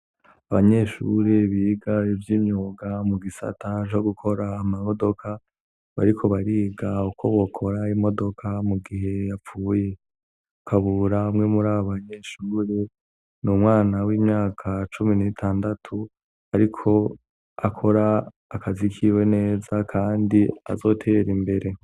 Abanyeshuri biga ivyimyuga mugisata co gukora amamodoka bariko bariga ukobokora imodoka mu gihe yapfuye. KABURA umwe murabo banyeshuri n'umwana w'imyaka cumi n'itandatu ariko akora akazi kiwe neza kandi azotera imbere.